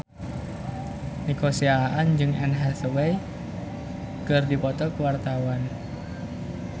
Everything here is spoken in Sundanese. Nico Siahaan jeung Anne Hathaway keur dipoto ku wartawan